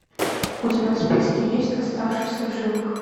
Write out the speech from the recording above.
у тебя в списке есть оставшийся в живых